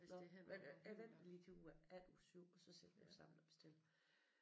Nåh men jeg venter lige til uge efter uge 7 og så sætter vi os sammen og bestiller